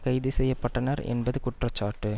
கைது செய்ய பட்டனர் என்பது குற்றச்சாட்டு